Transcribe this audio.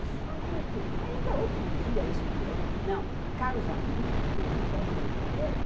Isso foi um... Ainda outro dia, isto é... Não, a Caros Amigos publicou uma matéria